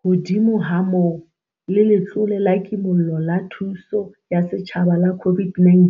Hodimo ha moo, le Letlole la Kimollo la Thuso ya Setjhaba la COVID-19